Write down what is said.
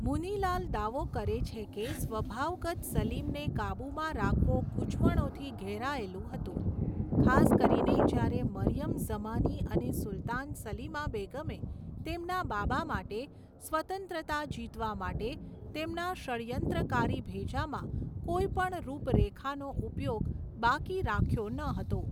મુનિ લાલ દાવો કરે છે કે, સ્વભાવગત સલીમને કાબૂમાં રાખવો ગૂંચવણોથી ઘેરાયેલું હતું, ખાસ કરીને જ્યારે મરિયમ ઝમાની અને સુલતાન સલીમા બેગમે તેમના બાબા માટે સ્વતંત્રતા જીતવા માટે તેમના ષડ્યંત્રકારી ભેજામાં કોઈ પણ રૂપરેખાનો ઉપયોગ બાકી રાખ્યો નહતો.